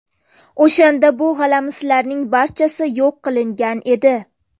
O‘shanda bu g‘alamislarning barchasi yo‘q qilingan edi”.